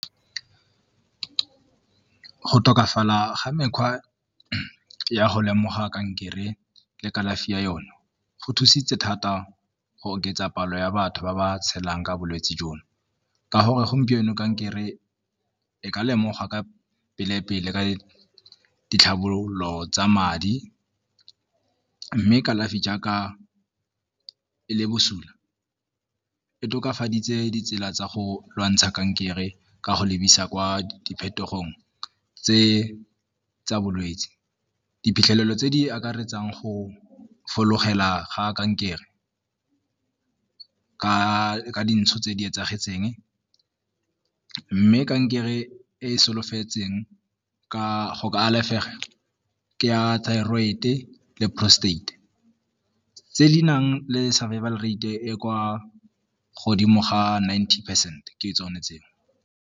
Go tokafala ga mekgwa ya go lemoga kankere le kalafi ya yone go thusitse thata go oketsa palo ya batho ba ba tshelang ka bolwetse jono, ka gore gompieno kankere e ka lemoga ka pele-pele ka ditlhabololo tsa madi, mme kalafi jaaka e le bosula e tokafaditse ditsela tsa go lwantsha kankere ka go lebisa kwa di phetogong tse tsa bolwetse. Diphitlhelelo tse di akaretsang go ga kankere ka dintsho tse di etsahetseng mme kankere e e solofetseng go ka alafega ke ya thyrod-e le prostate tse di nang le survival rate e e kwa godimo ga nineteen percent ke tsone tseo.